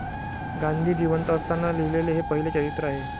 गांधी जिवंत असताना लिहिलेले हे पहिले चरित्र आहे.